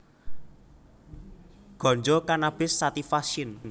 Ganja Cannabis sativa syn